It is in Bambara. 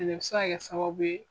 Fɛnɛ bɛ se ka kɛ sababu ye.